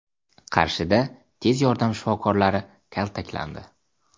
Qarshida tez yordam shifokorlari kaltaklandi.